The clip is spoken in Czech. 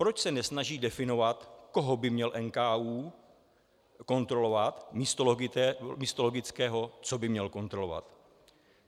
Proč se nesnaží definovat, koho by měl NKÚ kontrolovat, místo logického, co by měl kontrolovat?